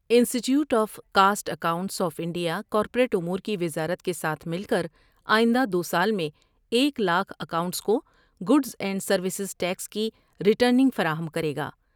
انسٹی ٹیوٹ of cost accountants of India corporate امور کی وزارت کے ساتھ مل کر آئندہ دوسال میں ایک لاکھ کاؤنٹنٹس کو گوڈس اینڈ سرویس ٹیکس کی ٹرینگ فراہم کرے گا ۔